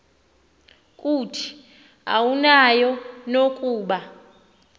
kuthi awunayo nokuba